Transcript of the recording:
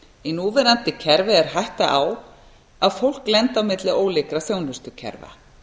í núverandi kerfi er hætta á að fólk lendi á milli ólíkra þjónustukerfa